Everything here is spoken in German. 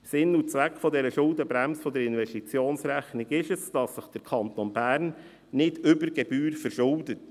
Sinn und Zweck der Schuldenbremse der Investitionsrechnung ist, dass sich der Kanton Bern nicht über Gebühr verschuldet.